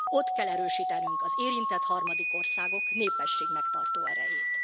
Ott kell erősítenünk az érintett harmadik országok népességmegtartó erejét.